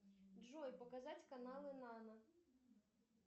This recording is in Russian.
джой показать каналы нано